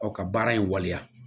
Ɔ ka baara in waleya